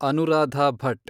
Anuradha Bhat